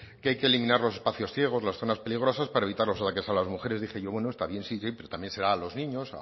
que hay que eliminar los espacios ciegos las zonas peligrosas para evitar los ataques a las mujeres dije yo bueno está bien sí siempre también será a los niños